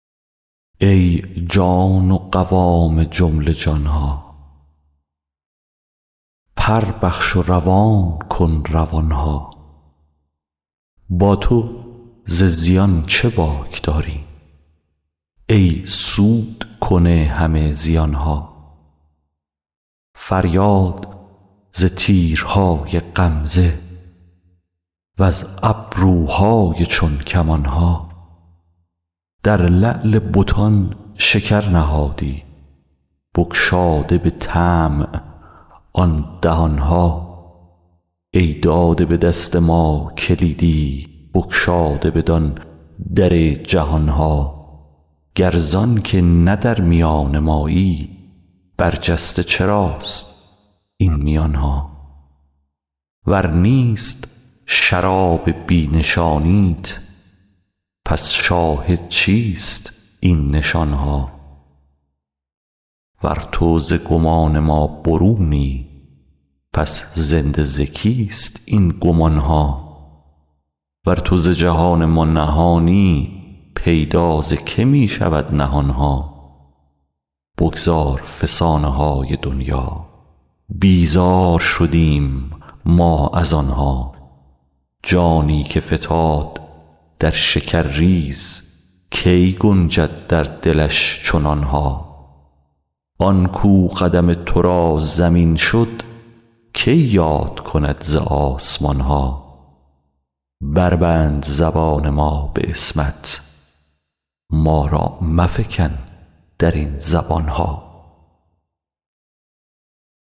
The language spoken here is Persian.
ای جان و قوام جمله جان ها پر بخش و روان کن روان ها با تو ز زیان چه باک داریم ای سودکن همه زیان ها فریاد ز تیرهای غمزه وز ابروهای چون کمان ها در لعل بتان شکر نهادی بگشاده به طمع آن دهان ها ای داده به دست ما کلیدی بگشاده بدان در جهان ها گر زانک نه در میان مایی برجسته چراست این میان ها ور نیست شراب بی نشانیت پس شاهد چیست این نشان ها ور تو ز گمان ما برونی پس زنده ز کیست این گمان ها ور تو ز جهان ما نهانی پیدا ز که می شود نهان ها بگذار فسانه های دنیا بیزار شدیم ما از آن ها جانی که فتاد در شکرریز کی گنجد در دلش چنان ها آن کاو قدم تو را زمین شد کی یاد کند ز آسمان ها بربند زبان ما به عصمت ما را مفکن در این زبان ها